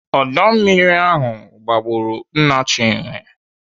Ọdọ mmiri ahụ gbagburu nna Chinwe